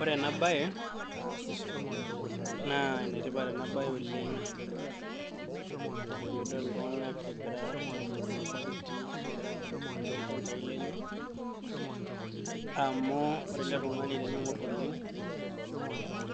Ore ena baye naa ene tipat ena baye oleng' ti piidol iltung'anak egira aibung'bung' irbaketi nagira aakururu toolchambai lenye amu ore ele tung'ani teniing'or oleng'